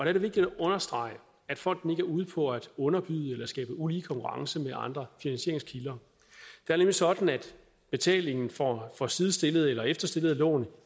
er det vigtigt at understrege at fonden ikke er ude på at underbyde eller skabe ulige konkurrence i andre finansieringskilder det er nemlig sådan at betalingen for for sidestillede eller efterstillede lån